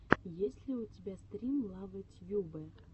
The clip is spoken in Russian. есть ли у тебя стрим лавэ тьюбэ